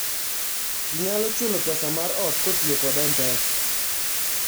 ji nyalo chulo pesa mar ot kotiyo kod m-pesa